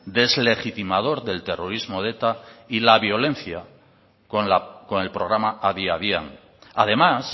deslegitimador del terrorismo de eta y la violencia con el programa adi adian además